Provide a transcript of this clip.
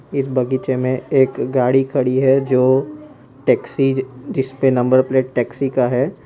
इस बगीचे में एक गाड़ी खड़ी है जो टैक्सी जिस पे नंबर प्लेट टैक्सी का है।